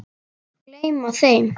Gleyma þeim.